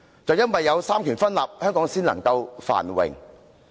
正正由於三權分立，香港才能繁榮。